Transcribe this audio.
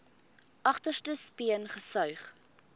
agterste speen gesuig